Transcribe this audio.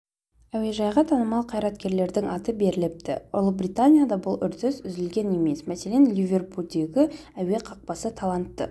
әуежайға танымал қайраткерлердің аты беріліпті ұлыбританияда бұл үрдіс үзілген емес мәселен ливерпульдегі әуе қақпасы талантты